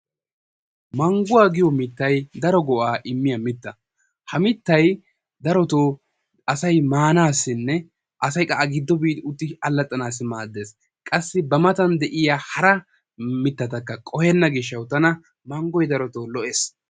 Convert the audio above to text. Mangguwa giyo mittay daro go"aa immiya mitta. Ha mittay darotoo asay maanaassinne asay qa A giddo biidi utti allaxxanaassi maaddees. Qassi ba matan de'iya hara mittatakka qohenna gishshatawu tana manggoy darotoo lo"ees.